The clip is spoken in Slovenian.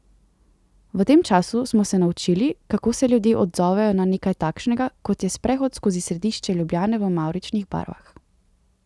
V tem času smo se naučili, kako se ljudje odzovejo na nekaj takšnega, kot je sprehod skozi središče Ljubljane v mavričnih barvah.